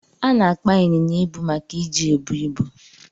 Ana akpa inyinya ibu maka iji ebu ibu.